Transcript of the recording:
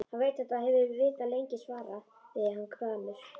Hann veit þetta og hefur vitað lengi, svaraði hann gramur.